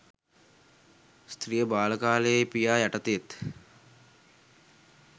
ස්ත්‍රිය බාල කාලයෙහි පියා යටතේත්